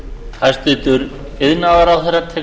tillögunni verði vísað til seinni umræðu